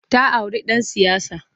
Ta auri ɗan siyasa.